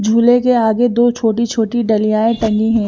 झूले के आगे दो छोटी छोटी डलीयांए टंगी है।